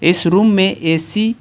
इस रूम में ए_सी --